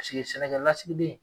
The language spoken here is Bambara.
sigi sɛnɛkɛ lasigiden